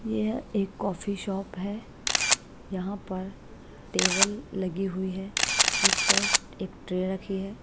यह है एक कॉफी शॉप है यहां पर टेबल लगी हुई है उस पर एक ट्रे रखी है।